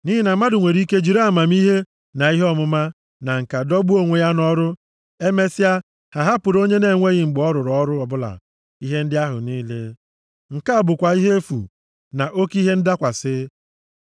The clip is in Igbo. Nʼihi na mmadụ nwere ike jiri amamihe, na ihe ọmụma na ǹka dọgbuo onwe ya nʼọrụ, emesịa, ha ahapụrụ onye na-enweghị mgbe ọ rụrụ ọrụ ọbụla ihe ndị ahụ niile. Nke a bụkwa ihe efu, na oke ihe ndakwasị.